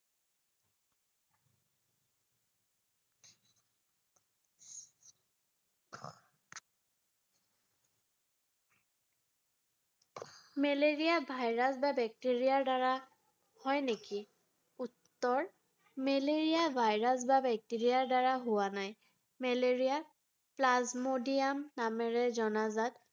Malaria virus বা bacteria হয় নেকি? উত্তৰ মেলেৰিয়া virus বা bacteria -ৰ দ্বাৰা হোৱা নাই৷ মেলেৰিয়াক plasmodium নামেৰে জনাযাত ৷